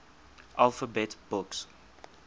alphabet books